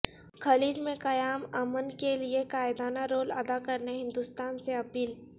خلیج میں قیام امن کیلئے قائدانہ رول ادا کرنے ہندوستان سے اپیل